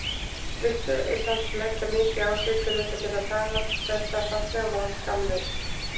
Vildi samt leggja mikið á sig til þess að geta talað þetta fallega mál skammlaust.